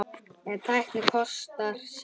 En tæknin kostar sitt.